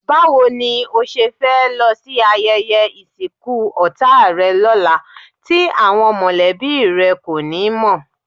Báwo ni o ṣe fẹ́ lọ sí ayẹyẹ ìsìnkú ọ̀tá rẹ lọ́la tí àwọn mọ̀lẹ́bí rẹ kò ní mọ̀?